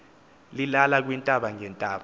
lilala kwiintaba ngeentaba